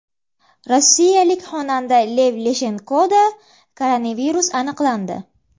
Rossiyalik xonanda Lev Leshenkoda koronavirus aniqlandi.